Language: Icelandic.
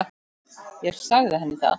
Ég sagði henni það.